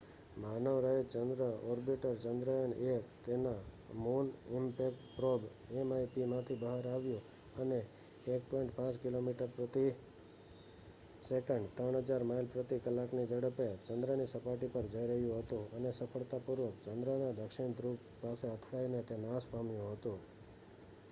માનવરહિત ચંદ્ર ઓર્બિટર ચંદ્રયાન-1 તેના મુન ઈમ્પેક્ટ પ્રોબ mip માંથી બહાર આવ્યું અને 1.5 કિલોમીટરપ્રતિ સેકન્ડ 3000 માઇલ પ્રતિ કલાકની ઝડપે ચંદ્રની સપાટી પર જઈરહ્યું હતું અને સફળતાપૂર્વક ચંદ્રના દક્ષિણ ધ્રુવ પાસે અથડાઈને તે નાશપામ્યું હતું